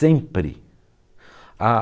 Sempre. Ah